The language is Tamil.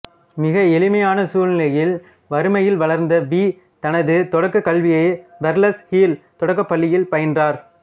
மிக எளிமையான சூழலில் வறுமையில் வளர்ந்த வீ தனது தொடக்கக் கல்வியை பெர்ல்ஸ் ஹில் தொடக்கப்பள்ளியில் பயின்றார்